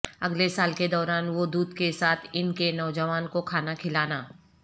اگلے سال کے دوران وہ دودھ کے ساتھ ان کے نوجوان کو کھانا کھلانا